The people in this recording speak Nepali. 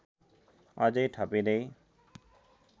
अझै थपिँदै